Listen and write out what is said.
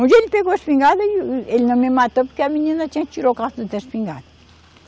Um dia ele pegou a espingarda e, e ele não me matou porque a menina tinha da espingarda.